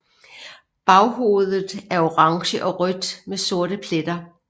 Baghovedet er orange og rødt med sorte pletter